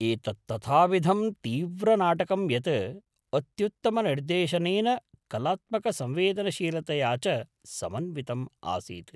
एतत् तथाविधं तीव्रनाटकं यत् अत्युत्तमनिर्देशनेन कलात्मकसंवेदनशीलतया च समन्वितम् आसीत्।